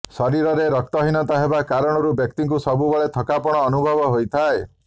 ଶରୀରରେ ରକ୍ତହୀନତା ହେବା କାରଣରୁ ବ୍ୟକ୍ତିକୁ ସବୁବେଳେ ଥକାପଣ ଅନୁଭବ ହୋଇଥାଏ